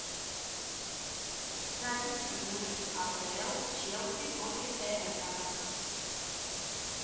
запись игры апл челси против эвертона